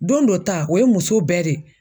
Don dɔ ta, o ye muso bɛɛ de ye.